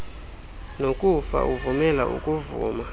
nokufa uvumela ukuvuma